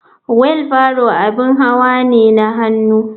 Wheel barrow abin hawa ne na hannu.